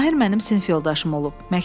Mahir mənim sinif yoldaşım olub.